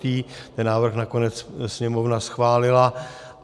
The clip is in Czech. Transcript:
Ten návrh nakonec Sněmovna schválila.